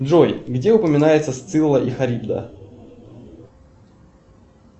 джой где упоминается сцилла и харибда